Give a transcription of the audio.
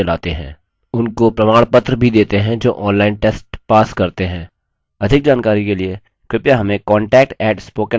* spoken hyphen tutorial dot org slash nmeict hyphen intro